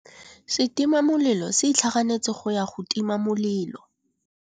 Setima molelô se itlhaganêtse go ya go tima molelô.